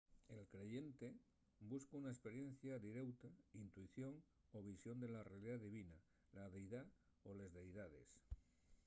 el creyente busca una esperiencia direuta intuición o visión de la realidá divina/la deidá o les deidaes